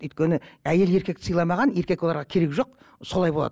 өйткені әйел еркекті сыйламаған еркек оларға керегі жоқ солай болады